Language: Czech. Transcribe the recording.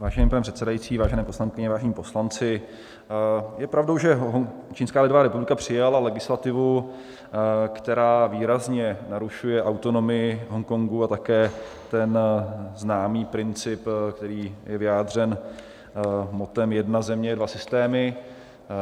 Vážený pane předsedající, vážené poslankyně, vážení poslanci, je pravdou, že Čínská lidová republika přijala legislativu, která výrazně narušuje autonomii Hongkongu a také ten známý princip, který je vyjádřen mottem "jedna země - dva systémy".